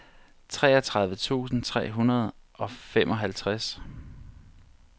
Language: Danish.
treogtredive tusind tre hundrede og femoghalvtreds